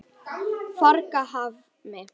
Fagrahvammi